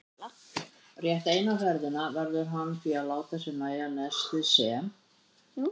Rétt eina ferðina verður hann því að láta sér nægja nestið sem